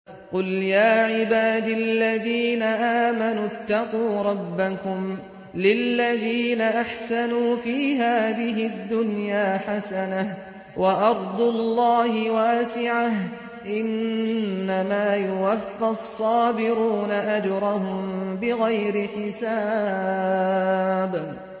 قُلْ يَا عِبَادِ الَّذِينَ آمَنُوا اتَّقُوا رَبَّكُمْ ۚ لِلَّذِينَ أَحْسَنُوا فِي هَٰذِهِ الدُّنْيَا حَسَنَةٌ ۗ وَأَرْضُ اللَّهِ وَاسِعَةٌ ۗ إِنَّمَا يُوَفَّى الصَّابِرُونَ أَجْرَهُم بِغَيْرِ حِسَابٍ